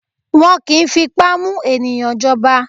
Wọn kì í fipá mú ènìyàn jọba.